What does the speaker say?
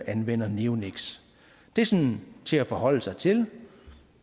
anvender neoniks det er sådan til at forholde sig til